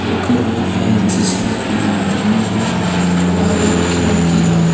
एक रूम है जिसमें तीन आदमी है और एक खिड़की है।